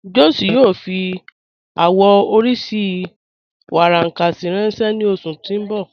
Josh yóò fí awọn oriṣí warankasi ranṣẹ ni oṣù tí n bọ́